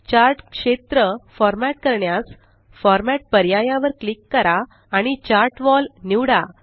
chart क्षेत्र format करण्यास format पर्याया वर क्लिक करा आणि चार्ट वॉल निवडा